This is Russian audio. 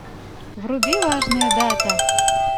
вруби важная дата